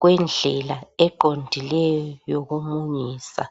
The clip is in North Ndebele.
kwendlela eqondileyo yokumunyisa.